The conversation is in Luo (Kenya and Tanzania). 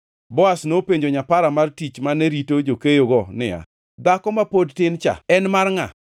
Boaz nopenjo nyapara mar tich mane rito jokeyogo niya, “Dhako ma pod tin cha en mar ngʼa?”